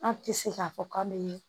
An tɛ se k'a fɔ k'an bɛ